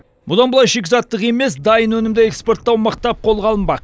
бұдан былай шикізаттық емес дайын өнімді экспорттау мықтап қолға алынбақ